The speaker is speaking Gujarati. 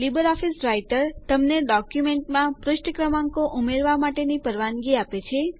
લીબર ઓફીસ રાઈટર તમને ડોક્યુંમેન્ટમાં પુષ્ઠ ક્રમાંકો ઉમેરવા માટેની પરવાનગી આપે છે